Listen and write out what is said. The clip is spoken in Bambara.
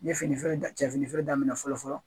N ye fini feere dan cɛ fini feere daminɛ fɔlɔ fɔlɔ